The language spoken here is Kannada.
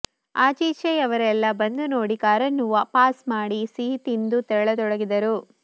ಆಚೀಚೆಯವರೆಲ್ಲಾ ಬಂದು ನೋಡಿ ಕಾರನ್ನು ಪಾಸ್ ಮಾಡಿ ಸಿಹಿ ತಿಂದು ತೆರಳತೊಡಗಿದರು